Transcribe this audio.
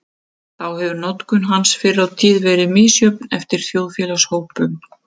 Þá hefur notkun hans fyrr á tíð verið misjöfn eftir þjóðfélagshópum.